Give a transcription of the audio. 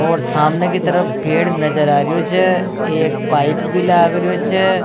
और सामने की तरफ एक पेड़ नज़र आ रेहो छ एक पाइप भी लाग रहो छ।